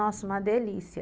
Nossa, uma delícia.